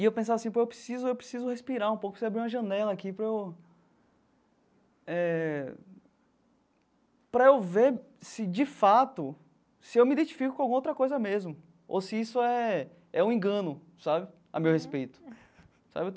E eu pensava assim pô, eu preciso eu preciso respirar um pouco, preciso abrir uma janela aqui para eu eh para eu ver, se de fato, se eu me identifico com alguma outra coisa mesmo ou se isso é é um engano sabe a meu respeito sabe.